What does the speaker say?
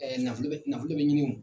Nafolo bɛ nafolo bɛ ɲini o